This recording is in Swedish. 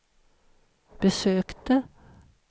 besökte